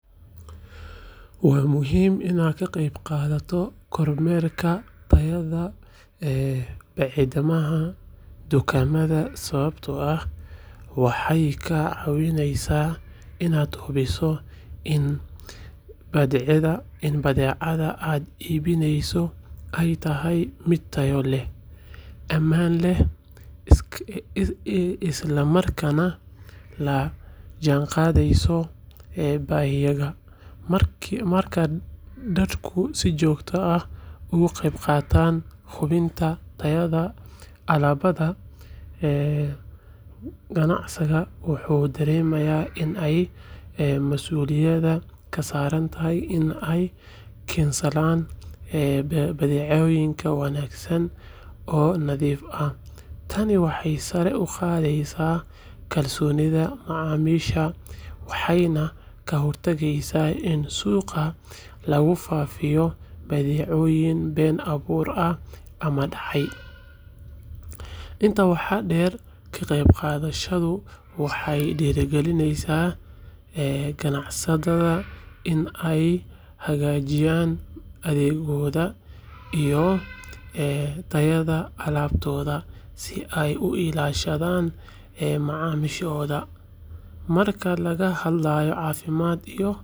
Waa muhiim inaad ka qeybqaadato kormeerka tayada badeecadaha dukaamada sababtoo ah waxay kaa caawineysaa inaad hubiso in badeecada aad iibsaneyso ay tahay mid tayo leh, ammaan ah, isla markaana la jaanqaadeysa baahiyahaaga. Marka dadku si joogto ah uga qeybqaataan hubinta tayada alaabada, ganacsatada waxay dareemaan in ay mas’uuliyad ka saaran tahay in ay keensadaan badeecooyin wanaagsan oo nadiif ah. Tani waxay sare u qaadaa kalsoonida macaamiisha waxayna ka hortagtaa in suuqa lagu faafiyo badeecooyinka been abuurka ah ama dhacay. Intaa waxaa dheer, ka qeybqaadashadaada waxay dhiirrigelisaa ganacsatada in ay hagaajiyaan adeegooda iyo tayada alaabtooda si ay u ilaashadaan macaamiishooda. Marka laga hadlayo caafimaadka iyo.